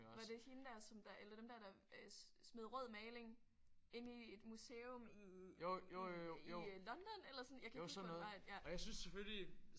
Var det hende der som der eller dem der der øh smed rød maling inde i et museum i i i i øh London eller sådan? Jeg kan ikke huske hvordan det var at